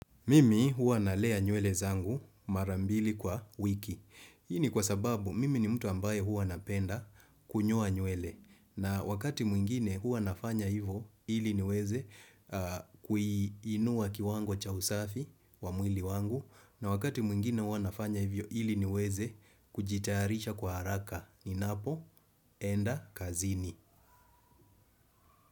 Mimi huwa nalea nywele zangu marambili kwa wiki. Hii ni kwa sababu mimi ni mtu ambaye huwa napenda kunyoa nywele. Na wakati mwingine huwa nafanya hivo ili niweze kuiinua kiwango cha usafi wa mwili wangu. Na wakati mwingine huwa nafanya hivyo ili niweze kujitayarisha kwa haraka. Ninapoenda kazini.